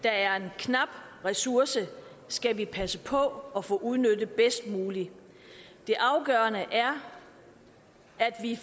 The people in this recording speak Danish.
er en knap ressource skal vi passe på at få udnyttet bedst muligt det er afgørende